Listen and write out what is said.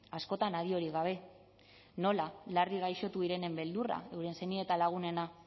askotan adiorik gabe nola larri gaixotu direnen beldurra euren senide eta lagunena